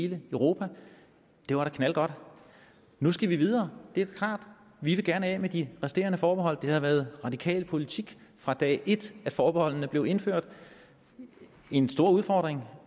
hele europa det var da knaldgodt nu skal vi videre det er klart vi vil gerne af med de resterende forbehold det har været radikal politik fra dag et da forbeholdene blev indført en stor udfordring